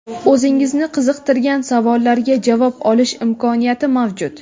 oʼzingizni qiziqtirgan savollarga javob olish imkoniyati mavjud.